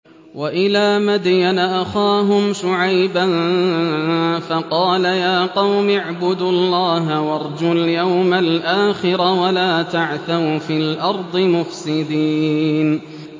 وَإِلَىٰ مَدْيَنَ أَخَاهُمْ شُعَيْبًا فَقَالَ يَا قَوْمِ اعْبُدُوا اللَّهَ وَارْجُوا الْيَوْمَ الْآخِرَ وَلَا تَعْثَوْا فِي الْأَرْضِ مُفْسِدِينَ